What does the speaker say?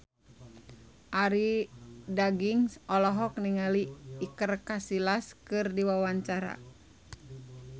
Arie Daginks olohok ningali Iker Casillas keur diwawancara